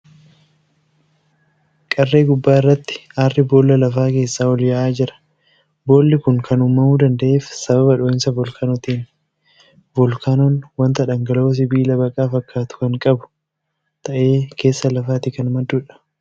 Qarree gubbaa irratti aarri boolla lafaa keessaa ol yaa'aa jira. Boolli kun akan uumamuu danda'eef sababa dhoo'insa voolkaanootiini. Voolkaanoon wanta dhangala'oo sibiila baqaa fakkaatu kan qabu ta'ee keessa lafaatii kan madduudha.